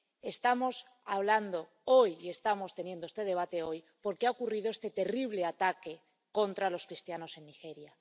Estamos hablando hoy y estamos teniendo este debate hoy porque ha ocurrido este terrible ataque contra los cristianos en Nigeria.